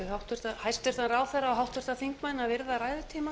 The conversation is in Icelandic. biður hæstvirtur ráðherra og háttvirtir þingmenn að virða ræðutíma